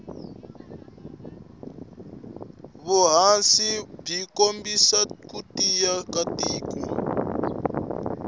vuhhashi bwikombisa kutiya katiko